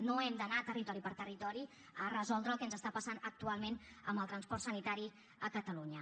no hem d’anar territori per territori a resoldre el que ens està passant actualment amb el transport sanitari a catalunya